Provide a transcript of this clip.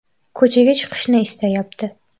Ko‘chaga chiqishni istayapti”.